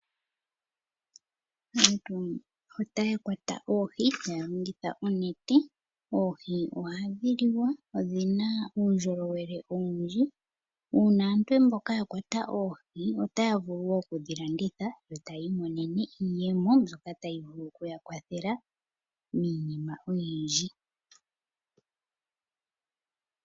Aantu ohaya kwata oohi taya longitha oonete. Oohi ohadhi liwa, odhina uundjolowele owundji, uuna aantu mboka ya kwata oohi, otaya vulu wo okudhi landitha yo tayi mononene iiyemo, mbyoka tayi vulu okuya kwathela miinima oyindji.